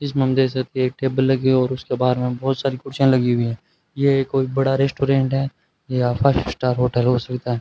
इस मंदिर से एक टेबल लगी और उसके बाहर में बहुत सारी कुर्सियां लगी हुई हैं ये कोई बड़ा रेस्टोरेंट है या फाइव स्टार होटल हो सकता है।